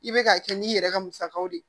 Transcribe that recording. I bɛ k'a kɛ n'i yɛrɛ ka musakaw de ye